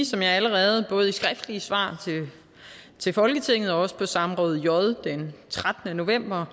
som jeg allerede både i skriftlige svar til folketinget og også på samråd j den trettende november har